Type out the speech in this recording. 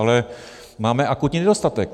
Ale máme akutní nedostatek.